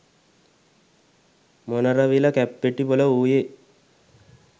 මොනරවිල කැප්පෙටිපොල වූයේ